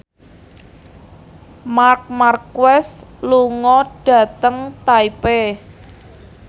Marc Marquez lunga dhateng Taipei